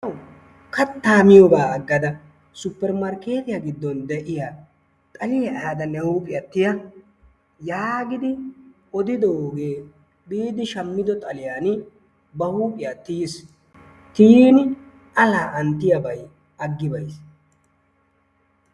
Kattaa miyogaa aggada suppermarkeettiya giddon de'iya xaliya ehaada ne huuphiya tiya yaagidi oddidoogee ehiido shamido xaliyani ba huuphiya tiyiis. Tiyiini laaa'anyttiyabay aggi bayiis.